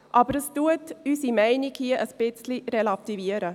Aber es relativiert unsere Meinung hier ein wenig.